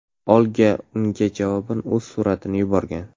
Olga unga javoban o‘z suratini yuborgan.